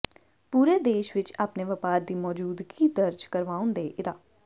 ਪੂਰੇ ਦੇਸ਼ ਵਿੱਚ ਆਪਣੇ ਵਪਾਰ ਦੀ ਮੌਜੂਦਗੀ ਦਰਜ ਕਰਵਾਉਣ ਦੇ ਇਰਾ